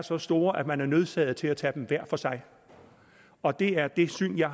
så store at man er nødsaget til at tage dem hver for sig og det er det syn jeg